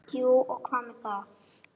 Jú og hvað með það!